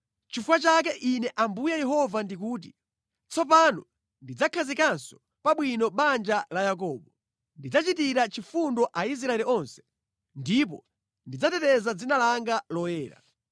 “Nʼchifukwa chake Ine Ambuye Yehova ndikuti: Tsopano ndidzakhazikanso pa bwino banja la Yakobo. Ndidzachitira chifundo Aisraeli onse, ndipo ndidzateteza dzina langa loyera.